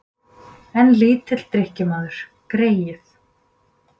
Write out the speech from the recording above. En lítill drykkjumaður, greyið.